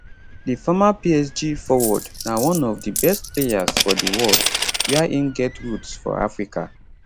di former psg forward na one of di best players for di world wia im get roots for africa